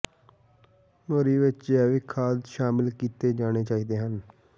ਮੋਰੀ ਵਿਚ ਜੈਵਿਕ ਖਾਦ ਸ਼ਾਮਲ ਕੀਤੇ ਜਾਣੇ ਚਾਹੀਦੇ ਹਨ